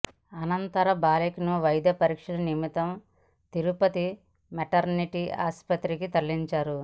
అనంతరం బాలికను వైద్య పరీక్షల నిమిత్తం తిరుపతి మెటర్నిటీ ఆస్పత్రికి తరలించారు